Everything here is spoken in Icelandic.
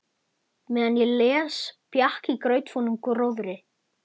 Meðan ég les bjakk í grautfúnum gróðri.